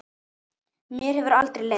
Mér hefur aldrei leiðst.